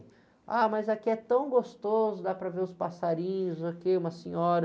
Ah, mas aqui é tão gostoso, dá para ver os passarinhos, ok, uma senhora.